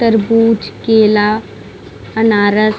तरबूज केला अनारस--